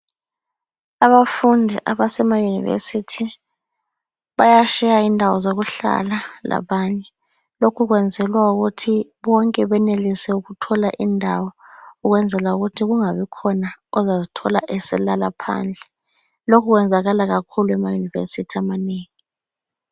Abafundi abasema University baya share indawo zokuhlala labanye. Lokhu kuyenzelwa ukuthi bonke benelise ukuthola indawo kwenzela ukuthi kungabi khona ozazithola eselala phandle. Lokhu kwenzakala kakhulu kuma University amanengi.